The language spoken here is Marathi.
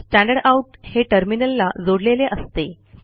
स्टँडरडाउट हे टर्मिनलला जोडलेले असते